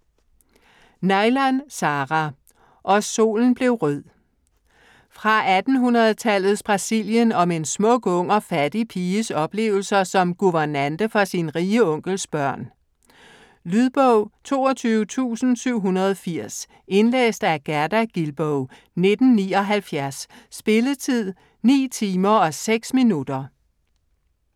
Neilan, Sarah: Og solen blev rød Fra 1800-tallets Brasilien om en smuk, ung og fattig piges oplevelser som guvernante for sin rige onkels børn. Lydbog 22780 Indlæst af Gerda Gilboe, 1979. Spilletid: 9 timer, 6 minutter.